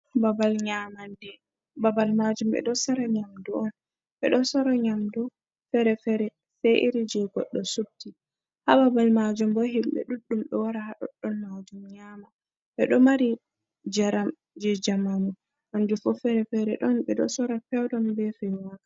Ɓabal nyamande, babal majum ɓe ɗo sara nyamdu on, ɓe ɗo sora nyamdu fere-fere se iri je goɗɗo subti ha babal majum, bo himɓe ɗuɗɗum ɗo wara ha ɗoɗɗon majum nyama, ɓe ɗo mari njaram je jamamu kanjum fu fere fere, ɗon ɓe ɗo sora fewdun be feiwaka.